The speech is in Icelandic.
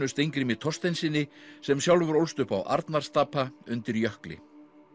Steingrími Thorsteinssyni sem sjálfur ólst upp á Arnarstapa undir jökli